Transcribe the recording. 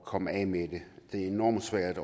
komme af med det det er enormt svært